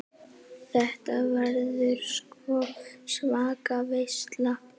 Þetta verður sko svaka veisla.